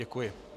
Děkuji.